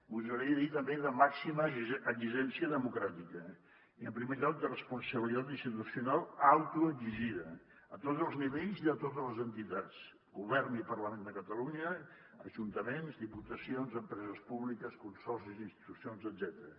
gosaria dir també de màxima exigència democràtica i en primer lloc de responsabilitat institucional autoexigida a tots els nivells i a totes les entitats govern i parlament de catalunya ajuntaments diputacions empreses públiques consorcis institucions etcètera